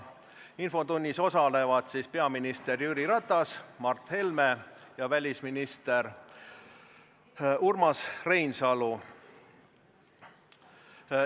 Infotunnis osalevad peaminister Jüri Ratas, Mart Helme ja välisminister Urmas Reinsalu.